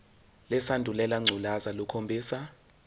lesandulela ngculazi lukhombisa